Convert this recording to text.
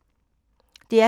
DR P2